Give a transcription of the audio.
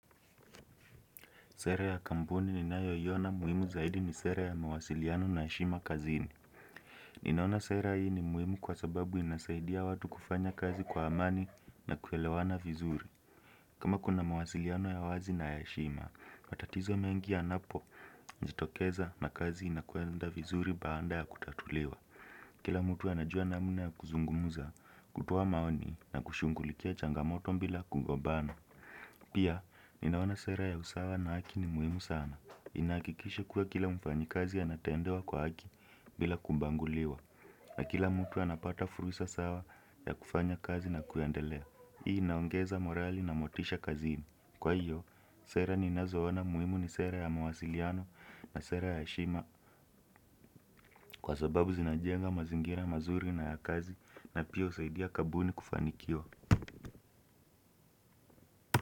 Sera ya kampuni ninayoiona muhimu zaidi ni sera ya mawasiliano na heshima kazini. Ninaona sera hii ni muhimu kwa sababu inasaidia watu kufanya kazi kwa amani na kuelewana vizuri. Kama kuna mawasiliano ya wazi na heshima, matatizo mengi yanapojitokeza na kazi inakwenda vizuri baada ya kutatuliwa. Kila mtu anajua namna ya kuzungumza, kutoa maoni na kushughulikia changamoto bila kugombana. Pia, ninaona sera ya usawa na haki ni muhimu sana. Inahakikisha kuwa kila mfanyikazi anatendewa kwa haki bila kubaguliwa na kila mtu anapata fursa sawa ya kufanya kazi na kuendelea hii inaongeza morali na motisha kazini kwa hiyo, sera ninazoona muhimu ni sera ya mawasiliano na sera ya heshima kwa sababu zinajenga mazingira mazuri na ya kazi na pia husaidia kampuni kufanikiwa.